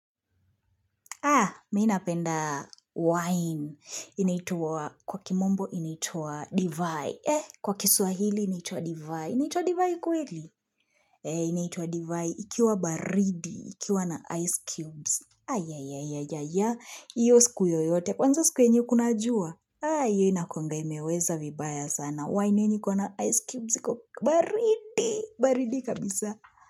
Aah, mi napenda wine. Inaitwa kwa kimombo inaitwa divai. Eh, kwa kiswahili, inaitwa divai. Inatwa divai kweli? Eh, inaitwa divai. Ikiwa baridi, ikiwa na ice cubes. Ayayayaya, hio siku yoyote. Kwanza siku yenye kuna jua. Haa, hio inakuanga imeweza vibaya sana. Wine yenye iko na ice cubes iko baridi, baridi kabisa.